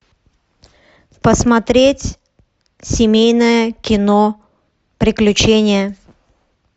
посмотреть семейное кино приключения